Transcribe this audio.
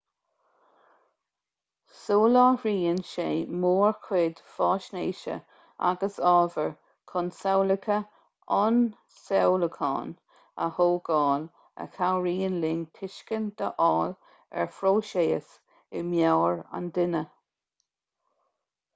soláthraíonn sé mórchuid faisnéise agus ábhair chun samhlacha ionsamhlúcháin a thógáil a chabhraíonn linn tuiscint a fháil ar phróisis i meabhair an duine